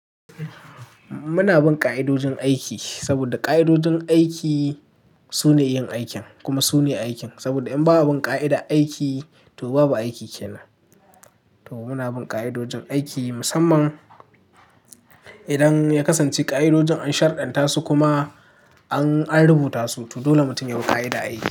Muna bin ƙa'idojin aiki saboda ƙa'idojin aiki su ne yin aikin kuma su ne aikin. Saboda in ba bin ƙa'ida aiki to babu aiki ke nan. To mu na bin ƙa'idojin aiki musamman idan ya kasance ƙa'idojin an sharɗanta su kuma an rubuta su to dole mutum ya bi kaidan aiki.